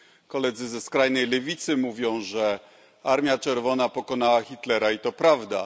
Koledzy ze skrajnej lewicy mówią, że Armia Czerwona pokonała Hitlera, i to prawda.